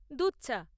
দুধ চা।